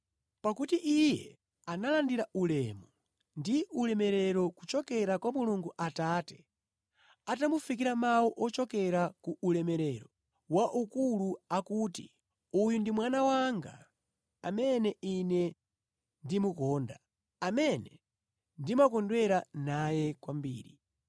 Pakuti Iye analandira ulemu ndi ulemerero kuchokera kwa Mulungu Atate atamufikira mawu ochokera ku ulemerero wa ukulu akuti, “Uyu ndi mwana wanga amene Ine ndimukonda, amene ndimakondwera naye kwambiri.”